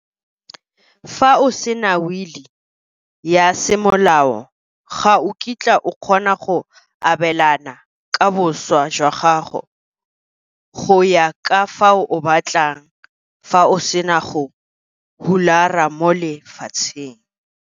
Fa o sena wili ya semolao ga o kitla o kgona go abelana ka boswa jwa gago go ya ka fao o batlang fa o sena go hulara mo lefatsheng.